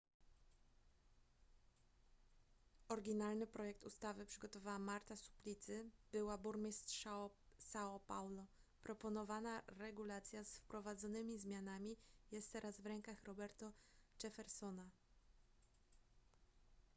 oryginalny projekt ustawy przygotowała marta suplicy była burmistrz são paulo. proponowana regulacja z wprowadzonymi zmianami jest teraz w rękach roberto jeffersona